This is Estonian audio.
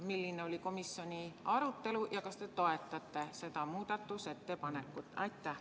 " Milline oli komisjoni arutelu ja kas te toetate seda muudatusettepanekut?